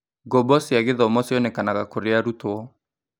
Ngombo cia gĩthomo cionekanaga kũrĩ arutwo.